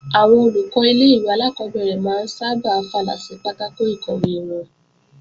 Àwọn Olùkọ́ ilé-ìwé alákọ́bẹ̀rẹ̀ máa ń sábà fàlà sí pátákò ìkọ̀wé wọn